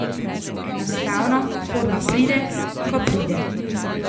Enostavno forma pride, ko pride.